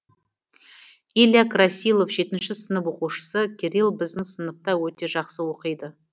илья красилов жетінші сынып оқушысы кирилл біздің сыныпта өте жақсы оқиды